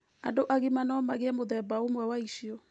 Andũ agima no magĩe mũthemba ũmwe wa icio.